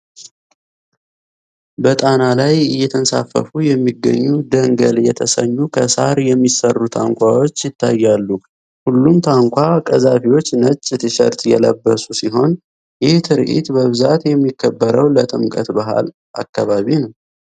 በጣና ላይ እየተንሳፈፉ የሚገኙ ደንገል የሚሰኙ ከሳር የሚሠሩ ታንኳወች ይታያሉ ።ሁሉም ታንኳ ቀዛፊወች ነጭ ቲሸርት የለበሱ ሲሆን። ይህ ትርዒት በብዛት የሚከበረው ለጥምቀት በዓል አከባቢ ነው።